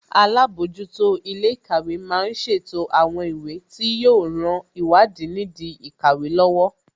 Alábòójútó ilé ìkàwé má ń ṣètò àwọn ìwé tí yóò ran ìwádìí nìdí ìkàwé lọ́wọ́